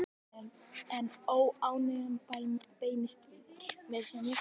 En óánægjan beinist víðar.